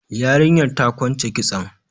Yarinyar ta kwance kitson.